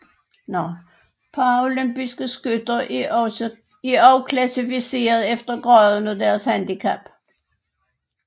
Paralympiske skytter er også klassificeret efter graden af deres handicap